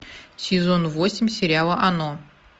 сезон восемь сериала оно